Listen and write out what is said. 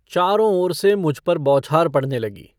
चारों ओर से मुझ पर बौछार पड़ने लगी।